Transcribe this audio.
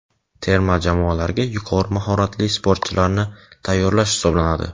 terma jamoalarga yuqori mahoratli sportchilarni tayyorlash hisoblanadi.